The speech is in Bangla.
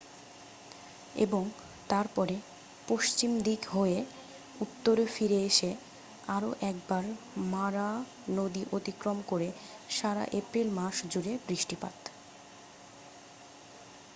এবং তারপরে পশ্চিম দিকে হয়ে উত্তরে ফিরে এসে আরও একবার মারা নদী অতিক্রম করে সারা এপ্রিল মাস জুড়ে বৃষ্টিপাত